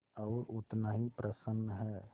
और उतना ही प्रसन्न है